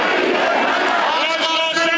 Haqq Əli dedi!